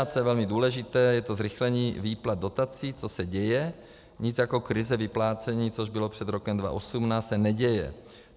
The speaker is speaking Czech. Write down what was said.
A co je velmi důležité, je to zrychlení výplat dotací, což se děje, nic jako krize vyplácení, což bylo před rokem 2018, se neděje.